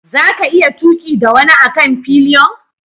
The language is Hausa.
Za ka iya tuki da wani a kan fillion?